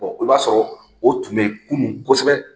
i b'a sɔrɔ, o tun bɛ yen kunun kosɛbɛ.